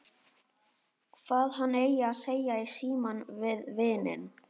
Hvað hann eigi að segja í símann við vininn.